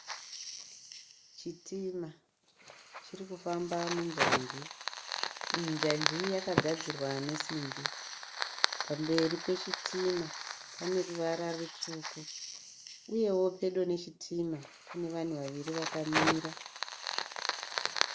Chitima chirikufamba munjanji . Iyi njanji yakagadzirwa nesimbi. Pamberi pechitima pane ruvara rutsvuku. Uyewo pedo nechitima pane vanhu vaviri vakamira.